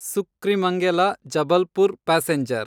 ಸುಕ್ರಿಮಂಗೆಲ Jabalpur passenger